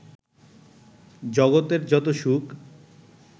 জগতের যত সুখ